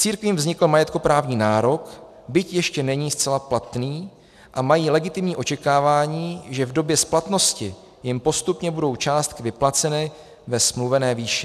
Církvím vznikl majetkoprávní nárok, byť ještě není zcela platný, a mají legitimní očekávání, že v době splatnosti jim postupně budou částky vyplaceny ve smluvené výši.